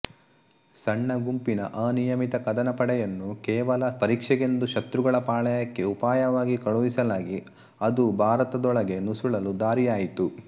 ಸಣ್ಣ ಗುಂಪಿನ ಅನಿಯಮಿತ ಕದನ ಪಡೆಯನ್ನು ಕೇವಲ ಪರೀಕ್ಷೆಗೆಂದು ಶತ್ರುಗಳ ಪಾಳೆಯಕ್ಕೆ ಉಪಾಯವಾಗಿ ಕಳುಹಿಸಲಾಗಿ ಅದು ಭಾರತದೊಳಕ್ಕೆ ನುಸುಳಲು ದಾರಿಯಾಯಿತು